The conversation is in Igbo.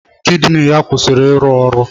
Kidini ya akwụsịla ịrụ ọrụ.